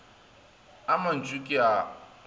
a mantši ke a a